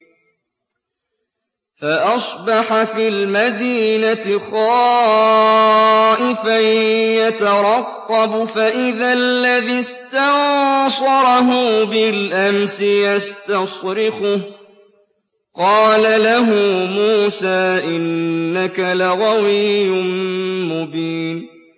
فَأَصْبَحَ فِي الْمَدِينَةِ خَائِفًا يَتَرَقَّبُ فَإِذَا الَّذِي اسْتَنصَرَهُ بِالْأَمْسِ يَسْتَصْرِخُهُ ۚ قَالَ لَهُ مُوسَىٰ إِنَّكَ لَغَوِيٌّ مُّبِينٌ